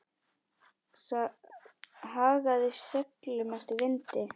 Hagaði seglum eftir vindi.